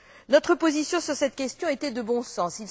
Notre position sur cette question était de bon sens.